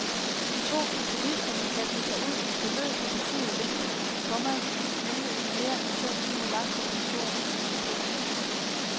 De to komponister har kastet sig ud i forløb af betydelig længde, komma nemlig en mere end to timer lang komposition. punktum